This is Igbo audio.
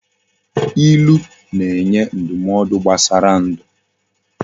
Ilu na enye ndumaodu gbasara ndu